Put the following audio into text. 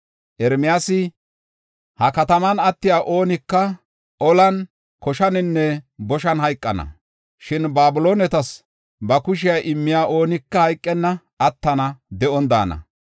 Ermiyaasi, “Ha kataman attiya oonika olan, koshaninne boshan hayqana. Shin Babiloonetas ba kushe immiya oonika hayqenna; attana; de7on daana.